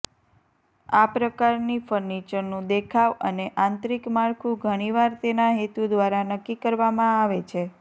આ પ્રકારની ફર્નિચરનું દેખાવ અને આંતરિક માળખું ઘણીવાર તેના હેતુ દ્વારા નક્કી કરવામાં આવે છે